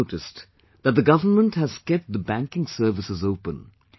You might have noticed that the government has kept the banking services open